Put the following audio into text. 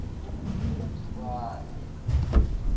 thubani